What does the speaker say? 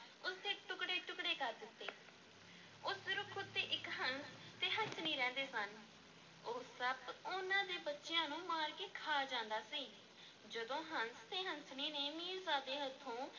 ਉਸ ਦੇ ਟੁਕੜੇ-ਟੁਕੜੇ ਕਰ ਦਿੱਤੇ, ਉਸ ਰੁੱਖ ਉੱਤੇ ਇੱਕ ਹੰਸ ਤੇ ਹੰਸਣੀ ਰਹਿੰਦੇ ਸਨ, ਉਹ ਸੱਪ ਉਹਨਾਂ ਦੇ ਬੱਚਿਆਂ ਨੂੰ ਮਾਰ ਕੇ ਖਾ ਜਾਂਦਾ ਸੀ, ਜਦੋਂ ਹੰਸ ਤੇ ਹੰਸਣੀ ਨੇ ਮੀਰਜ਼ਾਦੇ ਹੱਥੋਂ